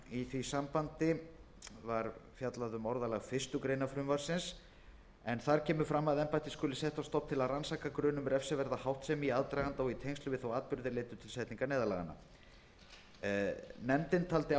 í því sambandi orðalag fyrstu grein en þar kemur fram að embættið skuli sett á stofn til að rannsaka grun um refsiverða háttsemi í aðdraganda og í tengslum við þá atburði er leiddu til setningar neyðarlaganna nefndin taldi